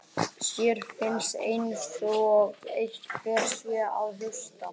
Sér finnist einsog einhver sé að hlusta.